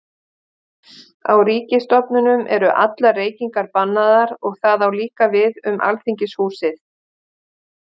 Á ríkisstofnunum eru allar reykingar bannaðar og það á líka við um Alþingishúsið.